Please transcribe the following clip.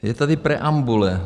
Je tady preambule.